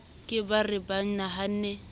ke ba re ba nahanne